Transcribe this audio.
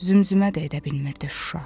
Zümzümə də edə bilmirdi Şuşa.